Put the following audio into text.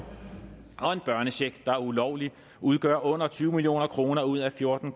og en børnecheck der er ulovlig udgør under tyve million kroner ud af fjorten